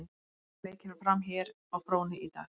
Nokkrir leiki fara fram hér á fróni í dag.